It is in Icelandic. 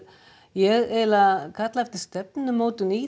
ég eiginlega kallaði eftir stefnumótun í